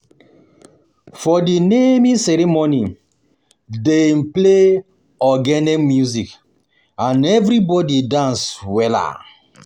For di naming ceremony, dem play ogene music and everybodi dance wella.